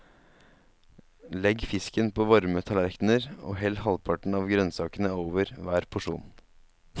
Legg fisken på varme tallerkener og hell halvparten av grønnsakene over hver porsjon.